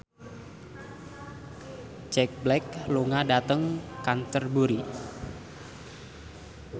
Jack Black lunga dhateng Canterbury